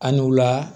An n'u la